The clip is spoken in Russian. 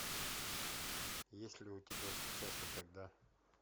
есть ли у тебя сейчас и тогда